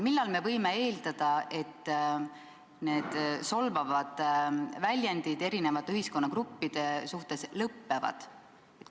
Millal me võime eeldada, et need solvavad väljendid eri ühiskonnagruppide kohta lõppevad?